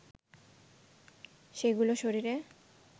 সেগুলো শরীরে